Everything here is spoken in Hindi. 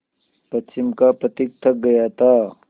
पश्चिम का पथिक थक गया था